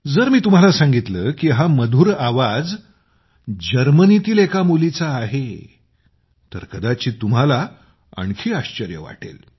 जर मी तुम्हाला सांगितले की हा मधुर आवाज जर्मनीतील मुलीचा आहे तर कदाचित तुम्हाला आणखी आश्चर्य वाटेल